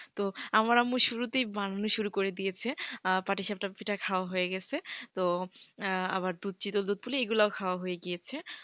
তো আমার আম্মু শুরুতেই বানানো শুরু করে দিয়েছি পাটিসাপটা পিঠা খাওয়া হয়ে গেছে তো আবার দুধ চিরল চিরল দুধ পুলি এগুলি খাওয়া হয়ে গিয়েছে।